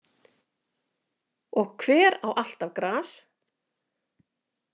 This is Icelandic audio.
Og hver á alltaf gras?